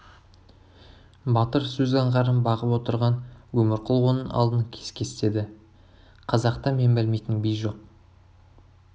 батыр сөз аңғарын бағып отырған өмірқұл оның алдын кес-кестеді қазақта мен білмейтін би жоқ